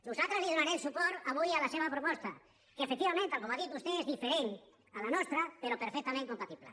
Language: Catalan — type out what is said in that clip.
nosaltres donarem suport avui a la seva proposta que efectivament tal com ha dit vostè és diferent de la nostra però perfectament compatible